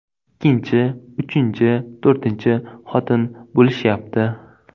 Ikkinchi, uchinchi, to‘rtinchi xotin bo‘lishyapti.